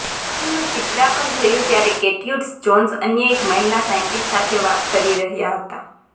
ફિલ્મનું ચિત્રાંકન થયું ત્યારે ગેર્ટ્યુડે જોન્સ અન્ય એક મહિલા સાયન્ટિસ્ટ સાથે વાત કરી રહ્યા હતા